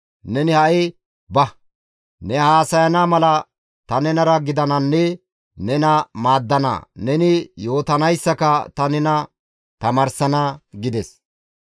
Neni ha7i ba; ne haasayana mala ta nenara gidananne nena maaddana; neni yootanayssaka ta nena tamaarsana» gides.